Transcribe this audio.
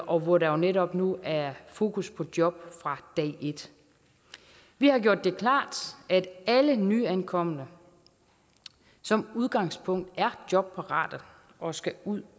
og hvor der jo netop nu er fokus på job fra dag et vi har gjort det klart at alle nyankomne som udgangspunkt er jobparate og skal ud